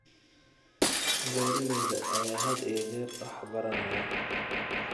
Beeralayda ayaa had iyo jeer wax baranaya.